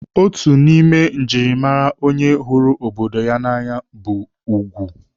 Otu n'ime njirimara onye hụrụ obodo ya n'anya bụ ugwu.